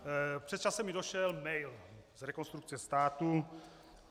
Před časem mi došel mail z Rekonstrukce státu.